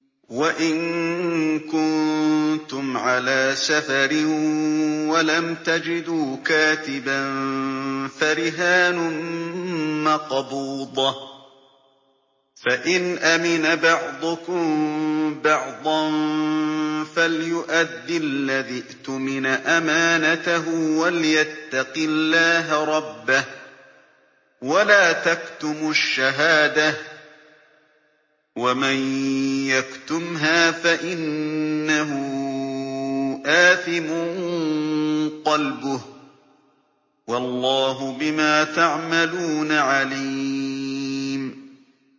۞ وَإِن كُنتُمْ عَلَىٰ سَفَرٍ وَلَمْ تَجِدُوا كَاتِبًا فَرِهَانٌ مَّقْبُوضَةٌ ۖ فَإِنْ أَمِنَ بَعْضُكُم بَعْضًا فَلْيُؤَدِّ الَّذِي اؤْتُمِنَ أَمَانَتَهُ وَلْيَتَّقِ اللَّهَ رَبَّهُ ۗ وَلَا تَكْتُمُوا الشَّهَادَةَ ۚ وَمَن يَكْتُمْهَا فَإِنَّهُ آثِمٌ قَلْبُهُ ۗ وَاللَّهُ بِمَا تَعْمَلُونَ عَلِيمٌ